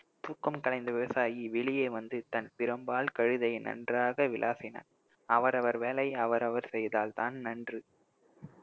தூக்கம் களைந்த விவசாயி வெளியே வந்து தன் பிரம்பால் கழுதையை நன்றாக விளாசினான் அவரவர் வேலையை அவரவர் செய்தால்தான் நன்று